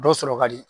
Dɔ sɔrɔ ka di